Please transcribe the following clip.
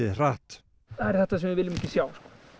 hratt það er þetta sem við viljum ekki sjá